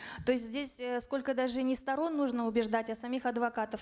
то есть здесь э сколько даже не сторон нужно убеждать а самих адвокатов